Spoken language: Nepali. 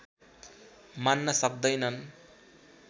मान्न सक्दैनन्